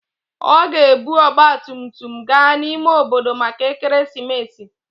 Ọ ga-ebu ọgba tum tum gaa n'ime obodo maka ekeresimesi.